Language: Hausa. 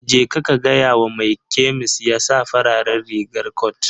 Jeka ka gaya wa mai kemis ya sa farar rigar cot.